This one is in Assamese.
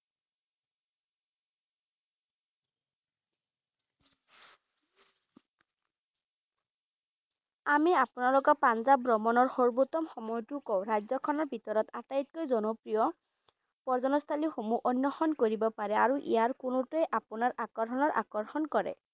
আমি আপুনালোকক পাঞ্জাব ভ্ৰমণৰ সৰ্বোত্তম সময়টো কও ৰাজ্যখনৰ ভিতৰত আটাইতকৈ জনপ্ৰিয় পৰ্যটনস্থলী সমুহ অন্নষন কৰিব পাৰে আৰু ইয়াৰ কোনোটোৱেই আপোনাৰ আকৰ্ষণৰ আকৰ্ষণ কৰে ।